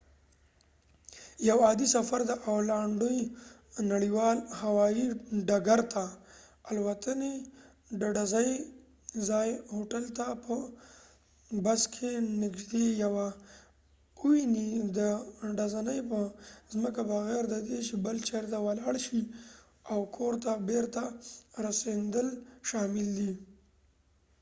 یو عادي سفر د اولانډو نړیوال هوایي ډکرته الوتنی.ډ ډزنی ځایې هوټل ته په بس کې ، نږدې یوه اوونی د ډزنی په ځمکه بغیر ددې چې بل چېرته ولاړ شي ، اوکور ته بیرته راستنیدل شامل دي